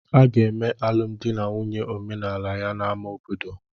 Aga eme alụmdi na nwunye omenala ya na ama obodo